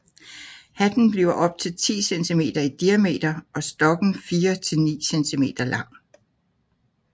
Hatten bliver op til 10 centimeter i diameter og stokken 4 til 9 cm lang